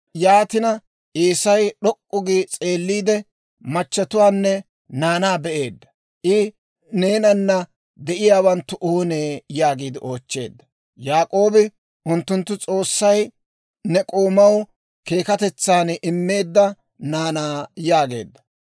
Yaatina Eesay d'ok'k'u gi s'eelliide, machatuwaanne naanaa be'eedda; I, «Ha neenana de'iyaawanttu oonee?» yaagiide oochcheedda. Yaak'oobi, «Unttunttu S'oossay ne k'oomaw keekatetsaan immeedda naanaa» yaageedda.